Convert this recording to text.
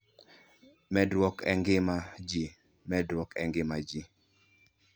Medruok e Ngima Ji: Medruok e ngima ji.